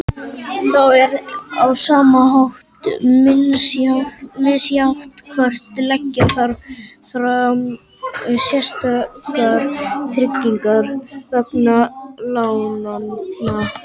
Þá er á sama hátt misjafnt hvort leggja þarf fram sérstakar tryggingar vegna lánanna.